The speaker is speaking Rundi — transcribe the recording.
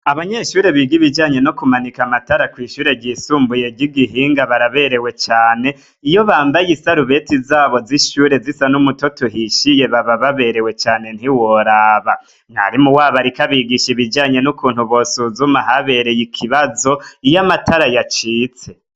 Abanyeshure biga ibijanye no kumanika amatara kw'ishure ryisumbuyery' igihinga baraberewe cane iyo bambaye isarubeti zabo z'ishyure zisa n'umutoto uhishiye baba baberewe cane ntiworaba mwarimu wabo, ariko abigisha ibijanye n'ukuntu bosuzuma habereye ikibazo iyo amatara yacitse.